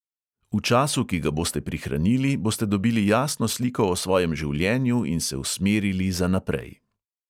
V času, ki ga boste prihranili, boste dobili jasno sliko o svojem življenju in se usmerili za naprej.